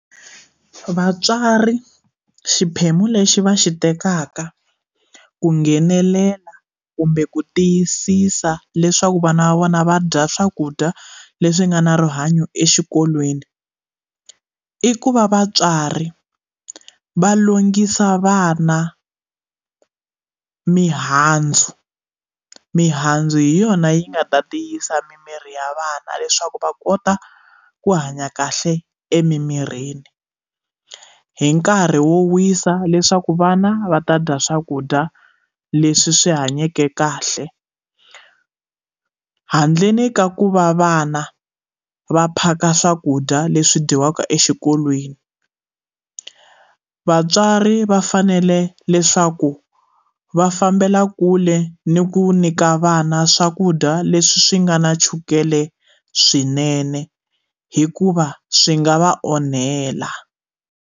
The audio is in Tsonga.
Vatswari xiphemu lexi va xi tekaka ku nghenelela kumbe ku tiyisisa leswaku vana va vona va dya swakudya leswi nga na rihanyo exikolweni ku i ku va vatswari va lunghisa vana mihandzu mihandzu hi yona yi nga ta tiyisa mimirhi ya vana leswaku va kota ku hanya kahle emimirini hi nkarhi wo wisa leswaku vana va ta dya swakudya leswi swi hanyeke kahle handleni ka ku va vana va phaka swakudya leswi dyiwaka exikolweni vatswari va fanele leswaku va fambela kule ni ku nyika vana swakudya leswi swi nga na chukele swinene hikuva swi nga va onhela.